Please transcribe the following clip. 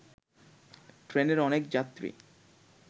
ট্রেনের অনেক যাত্রী